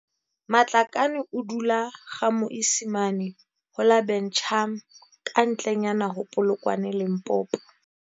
Matlakane o dula GaMoisimane ho la Buchum kantle nyana ho Polokwane Limpopo.